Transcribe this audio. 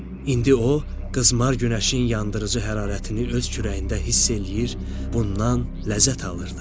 İndi o qızmar günəşin yandırıcı hərarətini öz kürəyində hiss eləyir, bundan ləzzət alırdı.